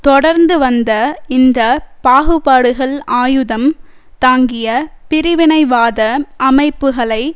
தொடர்ந்து வந்த இந்த பாகுபாடுகள் ஆயுதம் தாங்கிய பிரிவினைவாத அமைப்புகளை